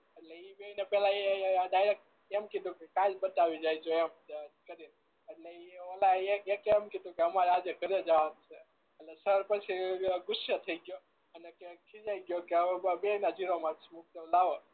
એટલે એ ઈ બે ને પેલા એ ડાયરેક્ટ એમ કીધું કે કાલ બતાવી જ જો એમ કરી ને એટલે ઈ એક ઓલા એક એ એમ કીધું કે હમારે આજ એ ધર એ જવાનું છે એટલે સર પછી ગુસ્સે થઈ ગયો અને કે ખીજાઈ ગયો કે બેય ના ઝીરો માર્ક મૂકી દઉ લાવો